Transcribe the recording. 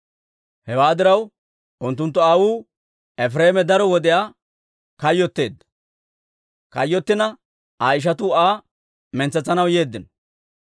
Hewaa diraw, unttunttu aawuu Efireeme daro wodiyaa kayyotteedda; kayyottina Aa ishatuu Aa mintsetsanaw yeeddino.